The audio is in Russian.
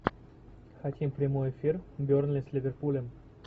хотим прямой эфир бернли с ливерпулем